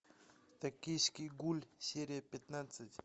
токийский гуль серия пятнадцать